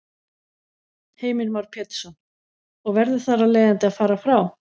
Heimir Már Pétursson: Og verður þar af leiðandi að fara frá?